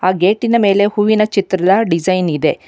ಆ ಗೇಟಿನ ಮೇಲೆ ಹೂವಿನ ಚಿತ್ರದ ಡಿಸೈನ್ ಇದೆ.